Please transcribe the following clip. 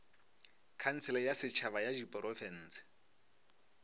khansele ya setšhaba ya diprofense